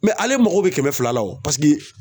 ale mago bɛ kɛmɛ fila la o paseke